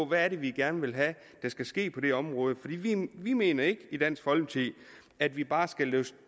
hvad vi gerne vil have der skal ske på det område vi mener nemlig ikke i dansk folkeparti at vi bare skal